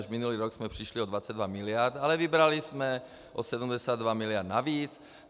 Už minulý rok jsme přišli o 22 miliard, ale vybrali jsme o 72 miliard navíc.